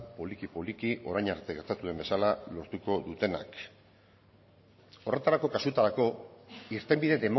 poliki poliki orain arte gertatu den bezala lortuko dutenak horretarako kasutarako irtenbide